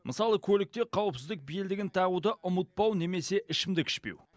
мысалы көлікте қауіпсіздік белдігін тағуды ұмытпау немесе ішімдік ішпеу